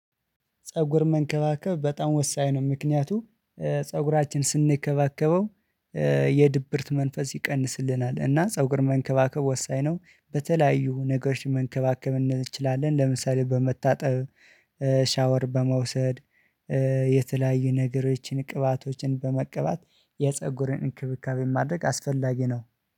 ፀጉር መንከባከብ በጣም ወሳኝ ነው። ምክንያቱም ፀጉራችን ስንከባከበው የድብርት መንፈስ ይቀንስልናል። እና ፀጉር መንከባከብ ወሳኝ ነው። በተለያዩ ነገሮች መንከባከብ እንችላለን ለምሳሌ በመታጠብ ሻወር በመውሰድ። የተለያዩ ነገሮችን ቅባቶችን በመቀባት የፀጉርን እንክብካቤ ማድረግ አስፈለጊ ነው።